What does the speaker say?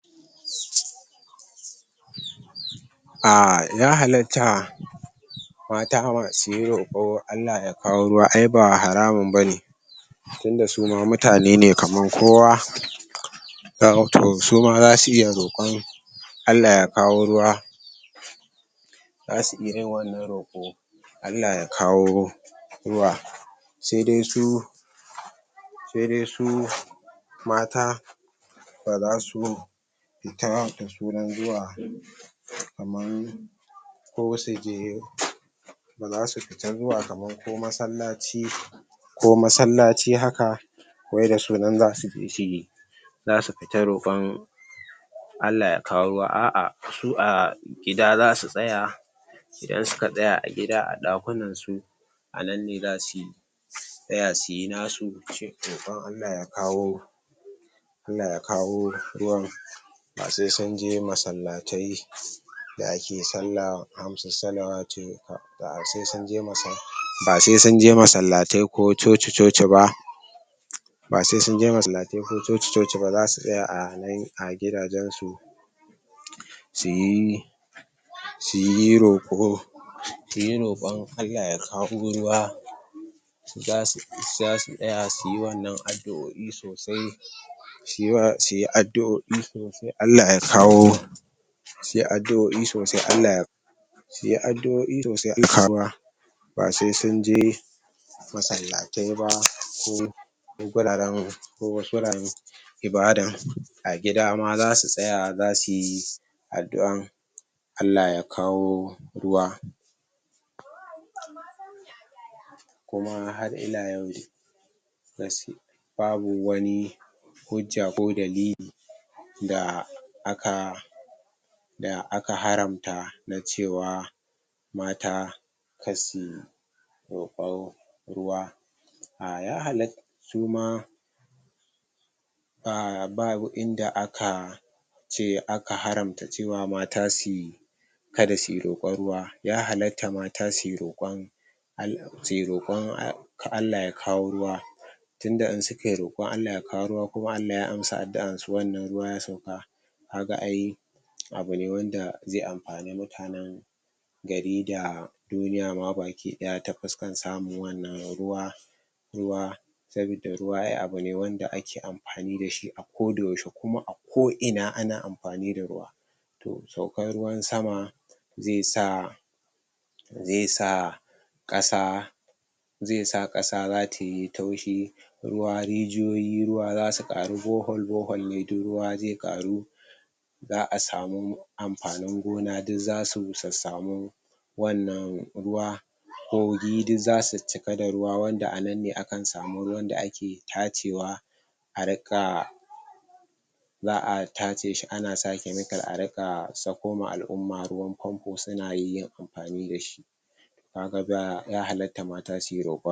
umm ya halatta mata masu yin roƙo Allah ya kawo ruwa ai ba haramun bane tunda su ma mutane ne kamar kowa kaga to su ma zasu iya roƙon Allah ya kawo ruwa zasu iya yin wannan roƙo Allah ya kawo ru ruwa se dai su se dai su mata baza su fita da sunan zuwa kaman ko suje baza su fita zuwa kamar ko masallaci ko masallaci haka wai da sunan zasuje suyi zasu fita roƙon Allah ya kawo ruwa a'a su a gida zasu tsaya idan suka tsaya a gida a ɗakunan su a nan ne zasu tsaya suyi nasu shi roƙon Allah ya kawo Allah ya kawo ruwan ba sai sunje masallatai da ake salla hamsu salawatu ba ba sai sunje masal basai sunje massalatai ko coci-coci ba ba sai sunje masallatai ko coci-coci ba, zasu tsaya a nan a gidajensu suyi suyi roƙo suyi roƙon Allah ya kawo ruwa zasu zasu tsaya suyi wannan addu'o'i sosai cewa suyi addu'o'i sosai Allah ya kawo suyi addu'o'i sosai Allah ya suyi addu'o'i sosai Allah ya kawo ruwa ba sai sunje masallatai ba ko ko guraren ko wasu guraren ibada a gida ma zasu tsaya zasuyi addu'an Allah ya kawo ruwa. Kuma har ila yanzu ba su babu wani hujja ko dalili da aka da aka haramta na cewa mata kar su roƙa ruwa. um ya halatta su ma umm babu inda aka ce aka haramta cewa mata suyi kada suyi roƙon ruwa. Ya halatta mata suyi roƙon al suyi roƙon al ka Allah ya kawo ruwa tunda in sukayi roƙon Allah ya kawo ruwa kuma Allah ya amsa adduan su wannan ruwa ya sauka kaga ai abu ne wanda zai amfani mutanen gari da duniya ma baki ɗaya ta fuskan samin wannan ruwa ruwa sabidda ruwa ai abu ne da ake amfani dashi a koda yaushe kuma a ko ina ana amfani da ruwa to saukan ruwan sama ze sa ze sa ƙasa ze sa ƙasa za tayi taushi ruwa, rijiyoyi, ruwa zasu ƙaru bore hole bore hole ne duk ruwa zai ƙaru za'a samu amfanin gona duk zasu sassamu wannan ruwa kogi duk zasu cika da ruwa, wanda a nan ne akan samun ruwan da ake tacewa a rinka za'a tace shi ana sa chemical a riƙa sakoma al'umma ruwan fanfo suna yin amfani dashi kaga ba ya hallatta mamta suyi roƙon.